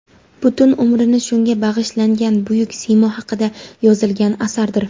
butun umrini shunga bag‘ishlangan buyuk siymo haqida yozilgan asardir.